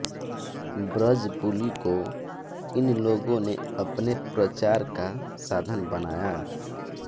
ब्रजबुलि को इन लोगों ने अपने प्रचार का साधन बनाया